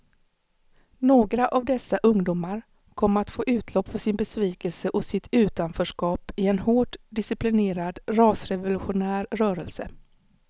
Några av dessa ungdomar kom att få utlopp för sin besvikelse och sitt utanförskap i en hårt disciplinerad rasrevolutionär rörelse.